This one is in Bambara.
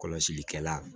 Kɔlɔsilikɛla